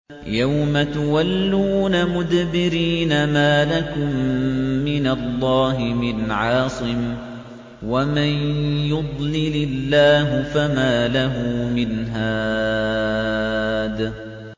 يَوْمَ تُوَلُّونَ مُدْبِرِينَ مَا لَكُم مِّنَ اللَّهِ مِنْ عَاصِمٍ ۗ وَمَن يُضْلِلِ اللَّهُ فَمَا لَهُ مِنْ هَادٍ